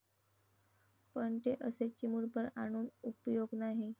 पण ते असे चिमुटभर आणून उपयोग नाही.